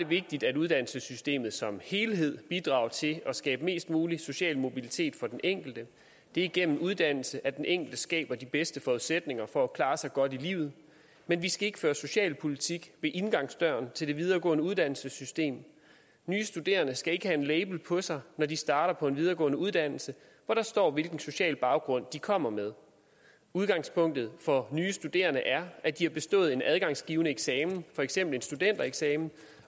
vigtigt at uddannelsessystemet som helhed bidrager til at skabe mest mulig social mobilitet for den enkelte det er igennem uddannelse at den enkelte skaber de bedste forudsætninger for at klare sig godt i livet men vi skal ikke føre socialpolitik ved indgangsdøren til det videregående uddannelsessystem nye studerende skal ikke have en label på sig når de starter på en videregående uddannelse hvor der står hvilken social baggrund de kommer med udgangspunktet for nye studerende er at de har bestået en adgangsgivende eksamen for eksempel en studentereksamen